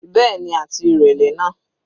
Bẹ́ẹ̀ni, àti ìrẹlẹ náà.